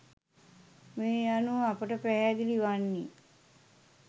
මේ අනුව අපට පැහැදිලි වන්නේ